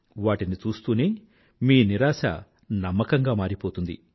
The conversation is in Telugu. వాటిని చూశ్తూనే మీ నిరాశ నమ్మకంగా మారిపోతుంది